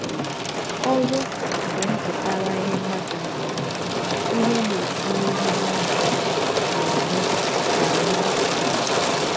Ọrụ ” bụ mpụtara ihe mmadụ na-eme, ihe na-esi n’ihe mmadụ na-eme na-eme apụta.